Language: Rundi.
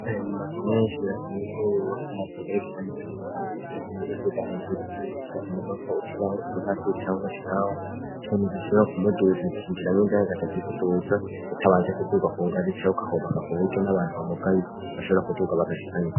Yo mu, maze menshi rakenewukrurubakonazamgerekiranikaniko fansa shikahiye uduganejuru rakanerwako ushiraho imvazi'canke ashilawa ikintu gishora kumuduzi kinjiramwoindaregaca akigutuza utabanje kuduga ku ngaza icahoukahobaka ku buryo n'abantu bamugayi bashoora kuduga bagashikanyo.